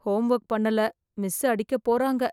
Home work பண்ணல miss அடிக்க போறாங்க.